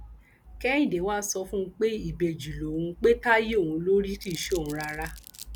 kẹhìndé wàá sọ fún un pé ìbejì lòun pe táyé òun ló rí kì í ṣe òun rárá